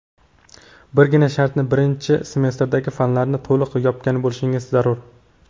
birgina sharti birinchi semestrdagi fanlarni to‘liq yopgan bo‘lishingiz zarur.